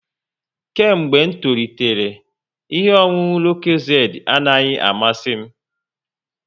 Kemgbe m toritere, ihe ọṅụṅụ lokozedi anaghị amasizi m